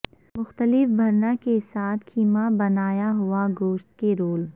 مختلف بھرنا کے ساتھ کیما بنایا ہوا گوشت کے رول